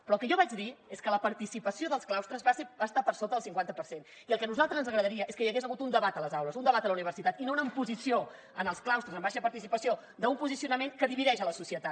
però el que jo vaig dir és que la participació dels claustres va estar per sota del cinquanta per cent i el que nosaltres ens agradaria és que hi hagués hagut un debat a les aules un debat a la universitat i no una imposició en els claustres amb baixa participació d’un posicionament que divideix la societat